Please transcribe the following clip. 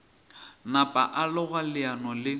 napa a loga leano le